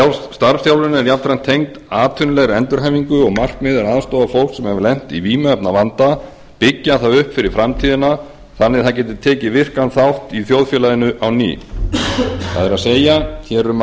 er jafnframt tengd atvinnulegri endurhæfingu og markmiðið er að aðstoða fólk sem hefur lent í vímuefnavanda byggja það upp fyrir framtíðina þannig að það geti tekið virkan þátt í þjóðfélaginu á ný það er hér er um að